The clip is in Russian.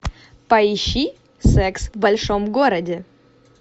поищи секс в большом городе